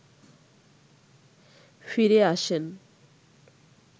ফিরে আসেন